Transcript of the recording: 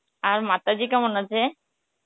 আর মাতাজি কেমন আছে?